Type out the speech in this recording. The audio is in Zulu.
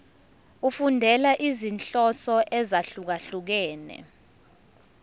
efundela izinhloso ezahlukehlukene